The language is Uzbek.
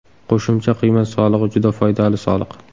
Qo‘shimcha qiymat solig‘i juda foydali soliq.